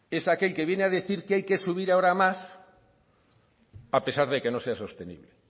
es aquel que viene a decir que hay que subir ahora más a pesar de que no sea sostenible